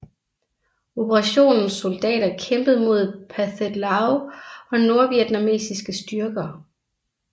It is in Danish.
Operationens soldater kæmpede mod Pathet Lao og nordvietnamesiske styrker